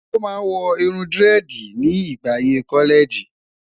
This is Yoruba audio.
o má wò irún diredi ni ìgbà ayé kọlẹẹjì